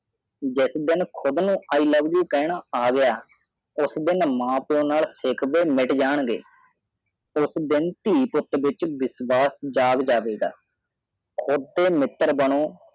ਜਿਸ ਦੀਨ ਕੂਦ ਨੂੰ ਈ ਲੋਵੇ ਯੂ ਕਰਦਾ ਹਾਂ ਕਹਿਨਾ ਆਹ ਗਿਆ ਉਸ ਦੀਨ ਮਾਂ ਪਾਇਓ ਨੱਕ ਸਿੱਖਵੇ ਮਿਟ ਜਪਾਨ ਨੇ ਦੀ ਵਰਤੋਂ ਕੀਤੀ ਹੈ ਦੀਨ ਧਿਈ ਪੁਤ ਵਿਚ ਵਿਸ਼ਵਾਸ ਜਗ ਜਾਵੇ ਗਾ ਕੁਡ ਡੀ ਮਿਤਰ ਬਾਨੋ ਗਾ